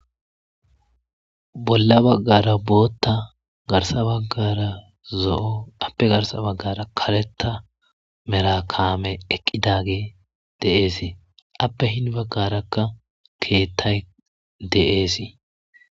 Bolla baggara bootta garsa baggara zo'o appe garsa baggara kaletta merakaame eqqidage deeesii appe hin baggarakka keettay deeesii.